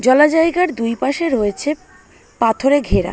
জলজায়গার দুই পাশে রয়েছে পাথরে ঘেরা।